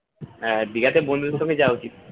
হ্যাঁ দিঘাতে বন্ধুদের সাথে যাওয়া উচিত